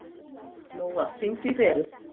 Lóa, hringdu í Beru.